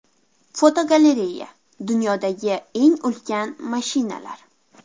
Fotogalereya: Dunyodagi eng ulkan mashinalar.